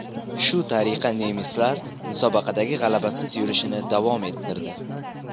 Shu tariqa nemislar musobaqadagi g‘alabasiz yurishini davom ettirdi.